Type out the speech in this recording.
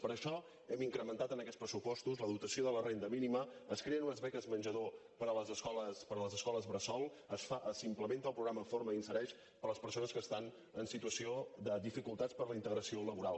per això hem incrementat en aquests pressupostos la dotació de la renda mínima es creen unes beques menjador per a les escoles bressol s’implementa el programa forma i insereix per a les persones que estan en situació de dificultats per a la integració laboral